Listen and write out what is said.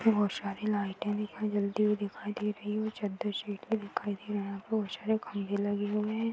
बहुत सारी लाइटे दिखाई जलती हुई दिखाई दे रही है और चद्दर सीट भी दिखाई दे रहा है। यहा पर बहुत सारे खंभे लगे हुए हैं।